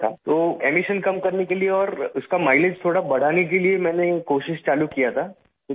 تو اخراج کم کرنے کے لیے اور اس کا مائی لیج تھوڑا بڑھانے کے لیے میں نے کوشش شروع کی تھی